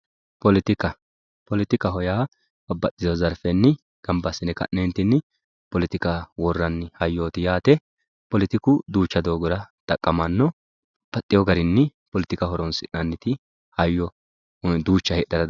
Politika politika yaa nabaxitino zarfeni politika worani hayooti yaate politiku duucha doogora xaqamano yaayepolitika horonsinaniti babaxewo daniti hayyo heedhara danditano